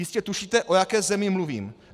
Jistě tušíte, o jaké zemi mluvím.